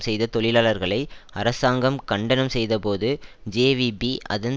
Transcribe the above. செய்த தொழிலாளர்களை அரசாங்கம் கண்டனம் செய்த போது ஜேவிபி அதன்